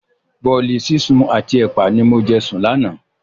Bọ̀ọ̀li sísun àti ẹpa ni mo jẹ sùn lánàá.